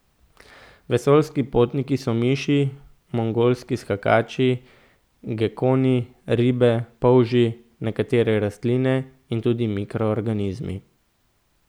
Vesoljski potniki so miši, mongolski skakači, gekoni, ribe, polži, nekatere rastline in tudi mikroorganizmi.